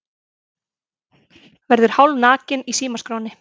Verður hálfnakinn í símaskránni